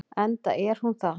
Enda er hún það.